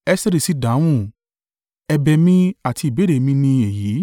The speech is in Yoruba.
Esteri sì dáhùn, “Ẹ̀bẹ̀ mi àti ìbéèrè mi ni èyí.